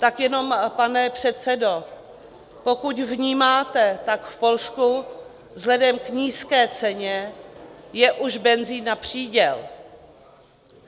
Tak jenom, pane předsedo, pokud vnímáte, tak v Polsku vzhledem k nízké ceně je už benzin na příděl.